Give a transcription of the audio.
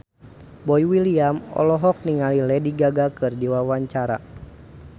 Boy William olohok ningali Lady Gaga keur diwawancara